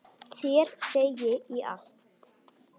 Þér segi ég allt.